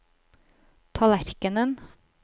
tallerkenen